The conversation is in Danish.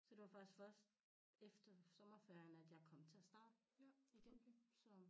Så det var faktisk første efter sommerferien at jeg kom til at starte igen så